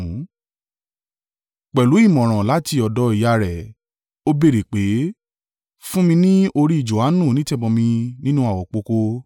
Pẹ̀lú ìmọ̀ràn láti ọ̀dọ̀ ìyá rẹ̀, ó béèrè pé, “Fún mi ni orí Johanu onítẹ̀bọmi nínú àwopọ̀kọ́”.